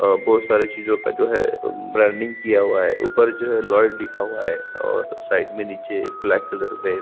बहोत सारी चीज़ो का जो है ब्रांडिंग किया हुआ है ऊपर जो है लॉयड लिखा हुआ है और साइड में नीचे ब्लैक कलर में--